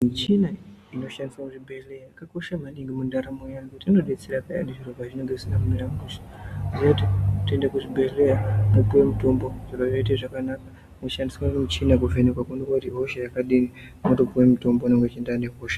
Michina inoshandiswa muzvibhehleya yakakosha maningi mundaramo yeantu inodetsera peyani pazvinenge zvisina kumira mushe ngenyaya yekuti tinoenda kuzvibhehleya topiwa mitombo zviro zvoite zvakana kushandisa michina kuvhenekwa koonekwe ihosha yakadini wotopuwa mutombo unoenderana nehosha.